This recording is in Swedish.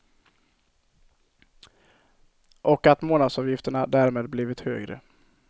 Och att månadsavgifterna därmed blivit högre.